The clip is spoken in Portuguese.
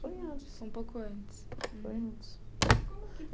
Foi antes, um pouco antes. Foi antes. E como que